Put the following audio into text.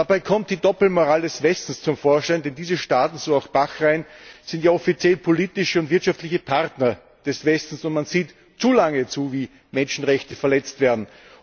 Dabei kommt die Doppelmoral des Westens zum Vorschein, denn diese Staaten so auch Bahrain sind ja offiziell politische und wirtschaftliche Partner des Westens, und man sieht zu lange zu, wie Menschenrechte verletzt werden.